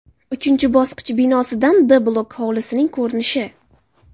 Uchinchi bosqich binosidan D bloki hovlisining ko‘rinishi.